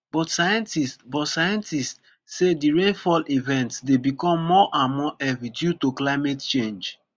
but scientists but scientists say di rainfall events dey become more and more heavy due to climate change